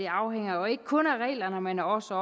afhænger jo ikke kun af reglerne men også